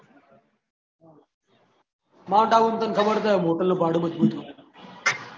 Mount Abu માં તને ખબર તો હે હોટેલ નું ભાડું મજબુત ગયું છે